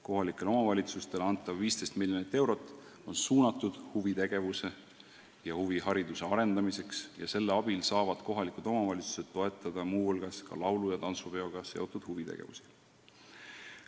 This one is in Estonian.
Kohalikele omavalitsustele antav 15 miljonit eurot on suunatud huvitegevuse ja huvihariduse arendamiseks ning selle abil saavad kohalikud omavalitsused toetada muu hulgas ka laulu- ja tantsupeoga seotud huvitegevust.